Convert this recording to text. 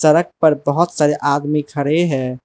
Truck पर बहुत सारे आदमी खड़े है।